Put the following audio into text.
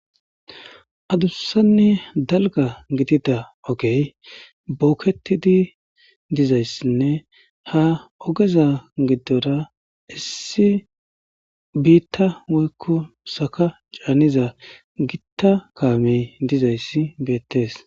Adussanne dalga gidida ogey bookketidi dizayssinne ha ogeza giddora issi biitta woykku saka caaniza gitta kaamey dizayssi beettees.